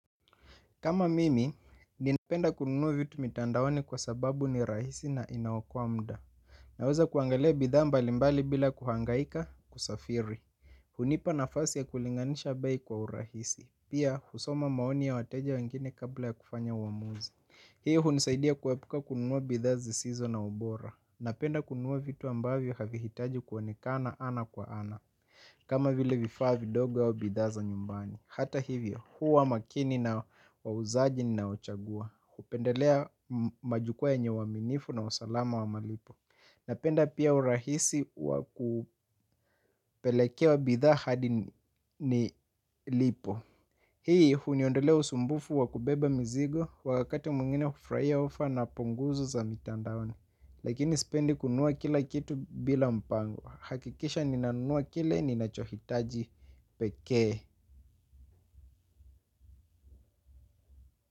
Kama mimi, ninapenda kununua vitu mitandaoni kwa sababu ni rahisi na inaokoa muda. Naweza kuangalia bidhaa mbalimbali bila kuhangaika kusafiri. Hunipa nafasi ya kulinganisha bei kwa urahisi. Pia husoma maoni ya wateja wengine kabla ya kufanya uamuzi. Hii hunisaidia kuepuka kununua bidhaa zisizo na ubora. Napenda kununua vitu ambavyo havihitaji kuonekana ana kwa ana. Kama vile vifaa vidogo au bidhaa za nyumbani. Hata hivyo, huwa makini na wauzaji ninaochagua. Kupendelea majukwaa yenye uaminifu na usalama wa malipo. Napenda pia urahisi wa kupelekewa bidhaa hadi nilipo. Hii, huniondelea usumbufu wa kubeba mzigo. Wakati mwingine kufurahia ofa na punguzu za mitandaoni. Lakini sipendi kunua kila kitu bila mpango. Hakikisha nina nunua kile, ninachohitaji pekee.